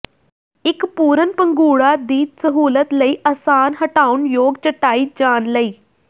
ਇੱਕ ਪੂਰਨ ਪੰਘੂੜਾ ਦੀ ਸਹੂਲਤ ਲਈ ਆਸਾਨ ਹਟਾਉਣਯੋਗ ਚਟਾਈ ਜਾਣ ਲਈ